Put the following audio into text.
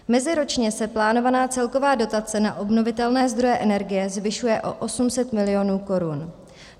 Meziročně se plánovaná celková dotace na obnovitelné zdroje energie zvyšuje o 800 mil. korun.